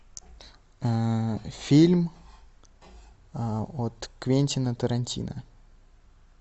фильм от квентина тарантино